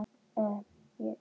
Hér eru nokkur nefnd